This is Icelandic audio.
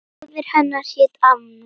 Móðir hennar hét Anna